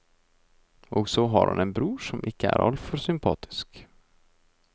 Og så har han en bror som ikke er altfor sympatisk.